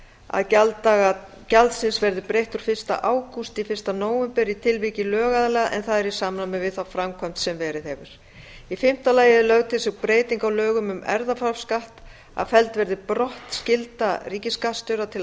að gjalddaga gjaldsins verði breytt úr fyrsta ágúst í fyrsta nóvember í tilviki lögaðila en það er í samræmi við þá framkvæmd sem verið hefur í fimmta lagi er lögð til sú breyting á lögum um erfðafjárskatt að felld verði brott skylda ríkisskattstjóra til